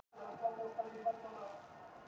Hagaflöt